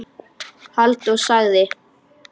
Halldór sagði: